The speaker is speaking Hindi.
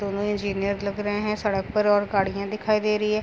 दोनों इंजीनियर लग रहे हैं। सड़क पर और गाड़ियां दिखाई दे रही है।